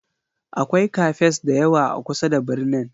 Akwai Cafes da yawa a kusa da birnin.